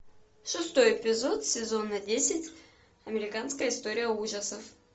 шестой эпизод сезона десять американская история ужасов